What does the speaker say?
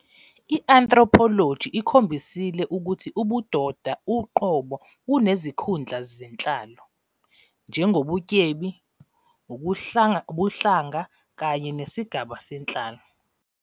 I-Anthropology ikhombisile ukuthi ubudoda uqobo bunezikhundla zenhlalo, njengobutyebi, ubuhlanga kanye nesigaba senhlalo.